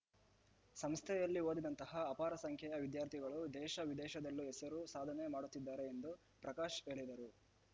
ಸಂಸ್ಥೆಯಲ್ಲಿ ಓದಿದಂತಹ ಅಪಾರ ಸಂಖ್ಯೆಯ ವಿದ್ಯಾರ್ಥಿಗಳು ದೇಶ ವಿದೇಶದಲ್ಲೂ ಹೆಸರು ಸಾಧನೆ ಮಾಡುತ್ತಿದ್ದಾರೆ ಎಂದು ಪ್ರಕಾಶ್‌ ಹೇಳಿದರು